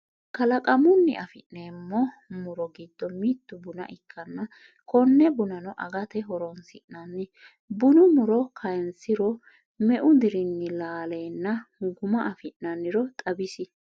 Kalaqamunni afi'neemmo muro giddo mittu buna ikkanna konne bunano agate horonsi'nanni bunu muro kaynsiro meu dirinni laalenna guma afi'nanniro xawis?